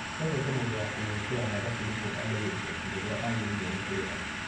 Ethete mũndũ wakũmũĩkĩra mathabu nĩguo amenye igoti rĩrĩa agĩrĩirwo nĩ kũrĩha.